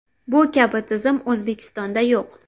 Bu kabi tizim O‘zbekistonda yo‘q.